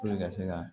ka se ka